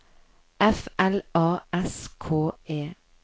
F L A S K E